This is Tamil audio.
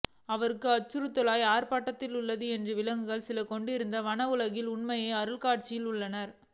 அவர்கள் அச்சுறுத்தலுக்கு ஆட்பட்டுள்ளன என்று விலங்குகள் சில கொண்டிருக்கும் வனஉலகத்தின் உண்மையான அருங்காட்சியகத்தில் உள்ளன